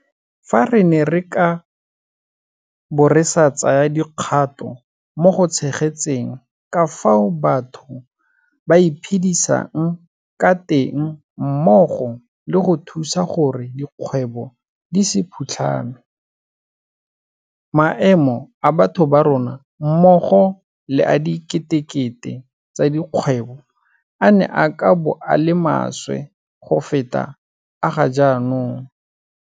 Fa re ne re ka bo re sa tsaya dikgato mo go tshegetseng ka fao batho ba iphedisang ka teng mmogo le go thusa gore dikgwebo di se phutlhame, maemo a batho ba rona mmogo le a diketekete tsa dikgwebo a ne a ka bo a le maswe go feta a ga jaanong.